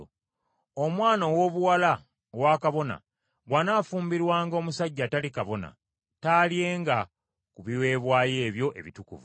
Omwana owoobuwala owa kabona bw’anaafumbirwanga omusajja atali kabona, talyenga ku biweebwayo ebyo ebitukuvu.